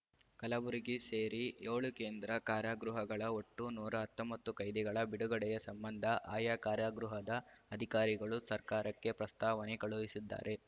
ಕಲಬುರಗಿ ಸೇರಿ ಏಳು ಕೇಂದ್ರ ಕಾರಾಗೃಹಗಳ ಒಟ್ಟು ನೂರ ಹತ್ತೊಂಬತ್ತು ಕೈದಿಗಳ ಬಿಡುಗಡೆಯ ಸಂಬಂಧ ಆಯಾ ಕಾರಾಗೃಹದ ಅಧಿಕಾರಿಗಳು ಸರ್ಕಾರಕ್ಕೆ ಪ್ರಸ್ತಾವನೆ ಕಳುಹಿಸಿದ್ದಾರೆ